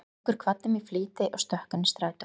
Gaukur kvaddi mig í flýti og stökk inn í strætó.